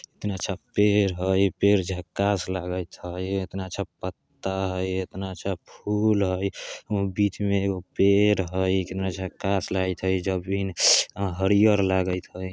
कितना अच्छा पेड़ हई पेड़ झक्कास लागत हई इतना अच्छा पत्ता हई इतना अच्छा फूल हई बीच में एगो पेड़ हई कितना झक्कास लागत हई हरियर लागत हई।